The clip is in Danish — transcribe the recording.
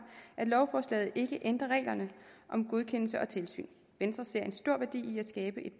at lovforslaget ikke ændrer reglerne om godkendelse og tilsyn venstre ser en stor værdi i at skabe et